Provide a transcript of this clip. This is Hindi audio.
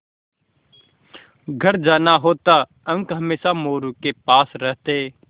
घर जाना होता अंक हमेशा मोरू के पास रहते